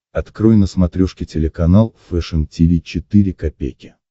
открой на смотрешке телеканал фэшн ти ви четыре ка